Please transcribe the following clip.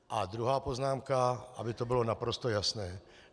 A druhá poznámka, aby to bylo naprosto jasné.